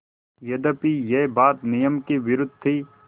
यद्यपि यह बात नियम के विरुद्ध थी